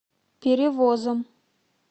перевозом